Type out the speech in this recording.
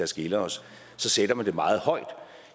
skiller os sætter man det meget højt